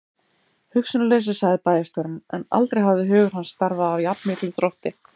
Hugsunarleysi sagði bæjarstjórinn, en aldrei hafði hugur hans starfað af jafn miklum þrótti.